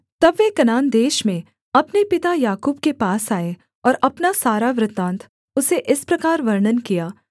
तब वे कनान देश में अपने पिता याकूब के पास आए और अपना सारा वृत्तान्त उसे इस प्रकार वर्णन किया